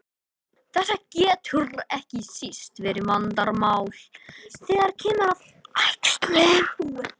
Þetta getur ekki síst verið vandamál þegar kemur að æxlun.